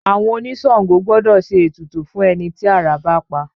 Àwọn oníṣàngó gbọ́dọ̀ ṣe ètùtù fún ẹni tí àrá bá pa